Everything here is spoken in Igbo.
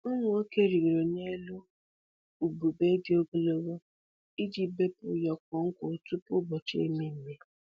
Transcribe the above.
Ụmụ nwoke rịgoro n'elu ubube dị ogologo iji bepụ ụyọkọ nkwụ tupu ụbọchị ememme.